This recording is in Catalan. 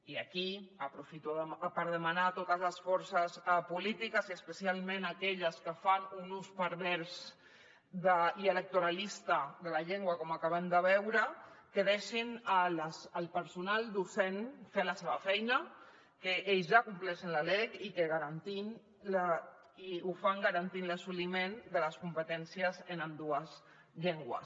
i aquí aprofito per demanar a totes les forces polítiques i especialment aquelles que fan un ús pervers i electoralista de la llengua com acabem de veure que deixin al personal docent fer la seva feina que ells ja compleixen la lec i ho fan garantint l’assoliment de les competències en ambdues llengües